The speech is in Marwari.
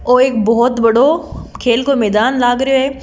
ओ एक बोहोत बड़ों खेल को मेदान लाग रियो है।